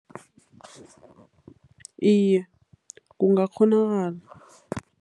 Iye, kungakghonakala.